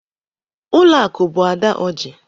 Ụlọakụ bụ Ada Ọji.